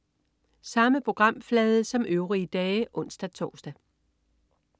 Samme programflade som øvrige dage (ons-tors)